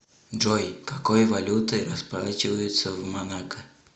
джой какой валютой расплачиваются в монако